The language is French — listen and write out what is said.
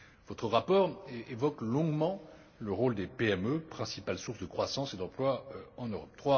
Votre rapport évoque longuement le rôle des PME, principale source de croissance et d'emploi en Europe.